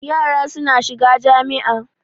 Yara suna shiga jami'a.